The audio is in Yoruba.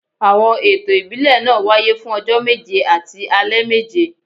Àwọn ètò ìbílẹ̀ náà wáyé fún ọjọ́ méje àti alẹ́ méje